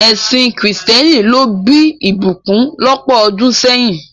Ẹsìn kìrìsìtẹ́nì ló bí ìbùkún lọ́pọ̀ ọdún sẹ́yìn.